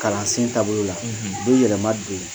Kalansen taabolo la u bɛ yɛlɛma don yen.